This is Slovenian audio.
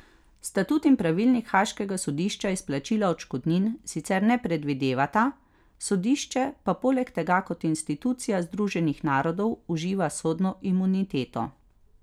Statut in pravilnik haaškega sodišča izplačila odškodnin sicer ne predvidevata, sodišče pa poleg tega kot institucija Združenih narodov uživa sodno imuniteto.